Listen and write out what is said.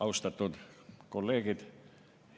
Austatud kolleegid!